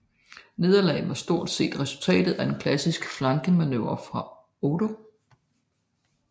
Nederlaget var stort set resultatet af en klassisk flankemanøvre fra Odo